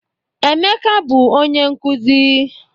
Emeka bụ onye nkụzi.